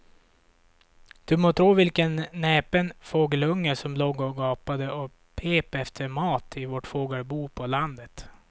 Du må tro vilken näpen fågelunge som låg och gapade och pep efter mat i vårt fågelbo på landet.